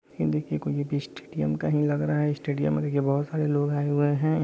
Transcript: ये देखिए कोई स्टेडियम का लग रहा है स्टेडियम में देखिये बहुत सारे लोग आये हुए हैं।